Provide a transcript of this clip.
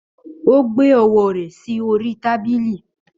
Ó gbé ọwọ́ rẹ̀ sí orí tábìlì.